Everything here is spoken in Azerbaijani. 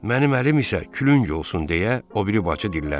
Mənim əlim isə külüng olsun deyə o biri bacı dilləndi.